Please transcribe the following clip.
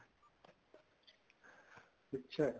ਅੱਛਾ